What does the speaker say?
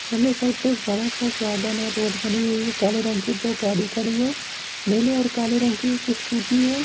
सामने एक साईड पे बड़ा सा गार्डन है रोड बनी हुई है काले रंग की दो गाड़ी खड़ी है नीले और काले रंग की एक स्कूटी है।